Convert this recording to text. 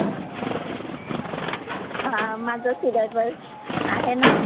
हां माझं सिलॅबस आहे ना.